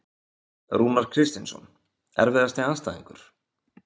Rúnar Kristinsson Erfiðasti andstæðingur?